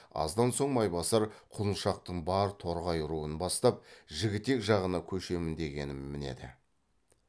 аздан соң майбасар құлыншақтың бар торғай руын бастап жігітек жағына көшемін дегенін мінеді